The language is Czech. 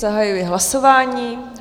Zahajuji hlasování.